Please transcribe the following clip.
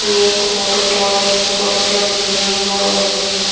ये एक water park हैं इसमें काफी सारे झूले हैं और गमले हैं।